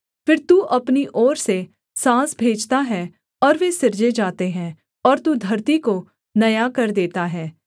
फिर तू अपनी ओर से साँस भेजता है और वे सिरजे जाते हैं और तू धरती को नया कर देता है